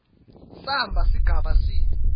samba sigaba c